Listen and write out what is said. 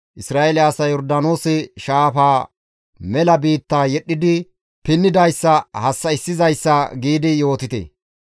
‹Isra7eele asay Yordaanoose shaafaa mela biitta yedhdhidi pinnidayssa hassa7issizayssa› giidi yootite.